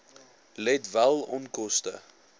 let wel onkoste